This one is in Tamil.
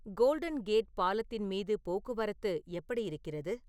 கோல்டன் கேட் பாலத்தின் மீது போக்குவரத்து எப்படி இருக்கிறது